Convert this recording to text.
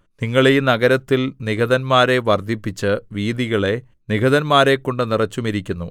നിങ്ങൾ ഈ നഗരത്തിൽ നിഹതന്മാരെ വർദ്ധിപ്പിച്ച് വീഥികളെ നിഹതന്മാരെക്കൊണ്ടു നിറച്ചുമിരിക്കുന്നു